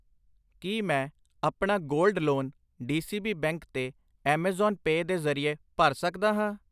ਕਿ ਮੈਂ ਆਪਣਾ ਗੋਲਡ ਲੋਨ ਡੀਸੀਬੀ ਬੈਂਕ ਤੇ ਐਮਾਜ਼ਾਨ ਪੈ ਦੇ ਜਰੀਏ ਭਰ ਸਕਦਾ ਹਾਂ ?